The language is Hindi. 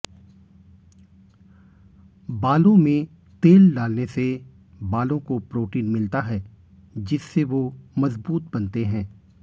बालों में तेल डालने से बालों को प्रोटीन मिलता है जिससे वो मजबूत बनते हैं